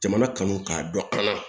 Jamana kanu k'a dɔn an na